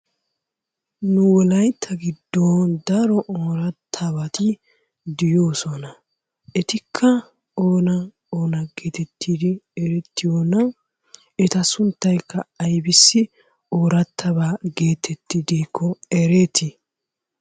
Nu wolayitta giddon daro oorattabati de'oosona. Etikka oona oona geetettidi erettiyoona? Eta sunttaykka aybissi oorattaba geetettidikko ereeti?